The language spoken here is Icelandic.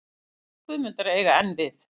Orð Guðmundar eiga enn við.